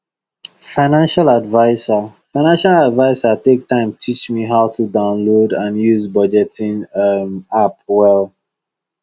financial adviser financial adviser take time teach me how to download and use budgeting um app well